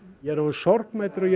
ég er orðinn sorgmæddur og